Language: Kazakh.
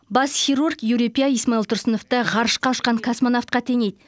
бас хирург юрий пя исмаил тұрсыновты ғарышқа ұшқан космонавтқа теңейді